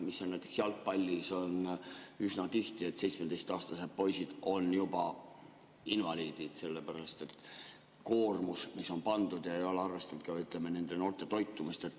Näiteks jalgpallis on üsna tihti nii, et 17‑aastased poisid on juba invaliidid selle koormuse pärast, mis on neile pandud, ja ei ole arvestatud ka, ütleme, noorte toitumist.